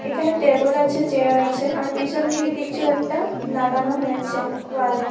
এখানে টেবল আছে চেয়ার আছে। আর পিছন দিকে কিছু একটা লাগানো হয়েছে ওয়াল - এ।